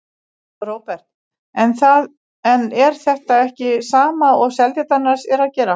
Róbert: En er þetta ekki sama og Seltjarnarnes er að gera?